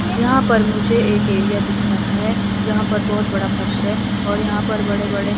यहाँ पर मुझे एक एरिया दिख रहा है जहां पर बहुत बड़ा फर्श है और यहाँ पर बड़े-बड़े --